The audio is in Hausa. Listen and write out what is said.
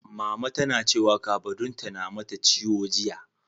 Mama tana cewa kafaɗunta na mata ciwo jiya.